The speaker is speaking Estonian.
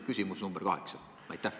Ehk küsimus number kaheksa.